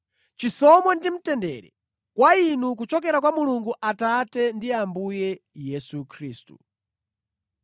Chisomo ndi mtendere kwa inu kuchokera kwa Mulungu Atate ndi Ambuye Yesu Khristu.